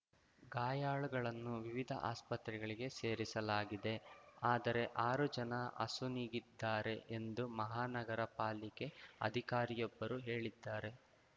ಗಾಯಾಳುಗಳನ್ನು ವಿವಿಧ ಆಸ್ಪತ್ರೆಗಳಿಗೆ ಸೇರಿಸಲಾಗಿದೆ ಆದರೆ ಆರು ಜನ ಅಸುನೀಗಿದ್ದಾರೆ ಎಂದು ಮಹಾನಗರಪಾಲಿಕೆ ಅಧಿಕಾರಿಯೊಬ್ಬರು ಹೇಳಿದ್ದಾರೆ